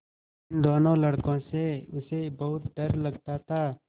इन दोनों लड़कों से उसे बहुत डर लगता था